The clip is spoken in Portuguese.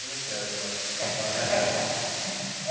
Como é que era aquela aquela época?